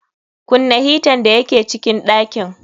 Kunna hitan da ya ke cikin ɗakin.